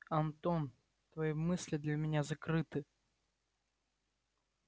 антон твои мысли для меня закрыты